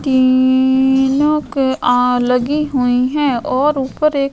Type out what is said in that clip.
टीनो की आ लगी हुई है और ऊपर एक --